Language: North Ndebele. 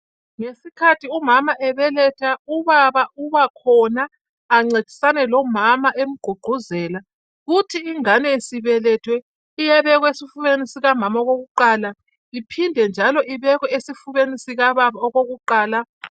Ngesikhathi umama ebeletha ubaba ubakhona ancedisane lomama, emgqugquzela kuthi ingane isibelethwe iyabekwa esifubeni sikamama okokuqala iphinde, njalo ibekwe esifubeni sikababa okokuqala.